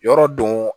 Yɔrɔ don